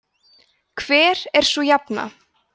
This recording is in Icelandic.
hver er sú jafna